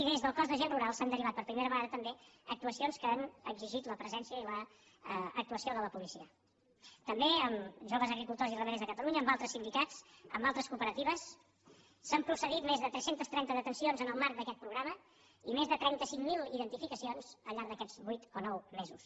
i des del cos d’agents rurals s’han derivat per primera vegada també actuacions que han exigit la presència i l’actuació de la policia també amb joves agricultors i ramaders de catalunya amb altres sindicats amb altres cooperatives s’han procedit més de tres cents i trenta detencions en el marc d’aquest programa i més de trenta cinc mil identificacions al llarg d’aquests vuit o nou mesos